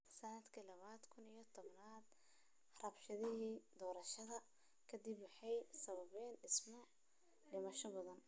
Sannadkii lawada kuun iyo todobada, rabshadihii doorashada ka dib waxay sababeen dhimasho badan.